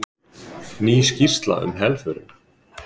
Ný skýrsla um helförina